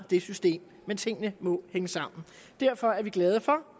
det system men tingene må hænge sammen derfor er vi glade for